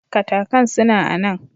Katakan suna a nan.